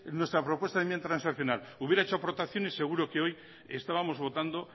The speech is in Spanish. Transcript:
nuestra propuesta de enmienda transaccional hubiera hecho aportaciones seguro que hoy estábamos votando